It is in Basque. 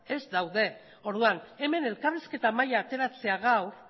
ez daude orduan hemen elkarrizketa mahaia ateratzea gaur